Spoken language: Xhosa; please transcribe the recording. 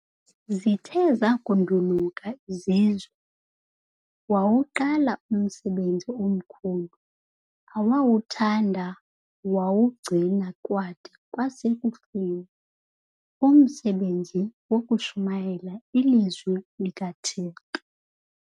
Zithe zakunduluka izizwe wawuqala umsebenzi omkhulu, awawuthanda wawugcina kwada kwasekufeni, umsebenzi wokushumayela iLizwi likaThixo.